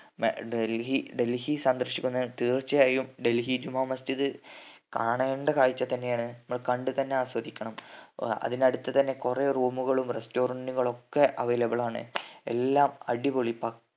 മ ഡൽഹി ഡൽഹി സന്ദർശിക്കുന്നവ തീർച്ചയായും ഡൽഹി ജുമാമസ്ജിദ് കാണേണ്ട കാഴ്ച തന്നെ ആണ് മ്മൾ കണ്ട് തന്നെ ആസ്വദിക്കണം അതിനടുത്ത് തന്നെ കൊറേ room കളും restaurant കളും ഒക്കെ available ആണ് എല്ലാം അടിപൊളി പക്കാ